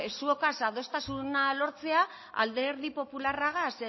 ba zuotaz adostasuna lortzea alderdi popularragaz